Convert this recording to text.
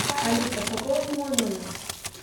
алиса пополни мой номер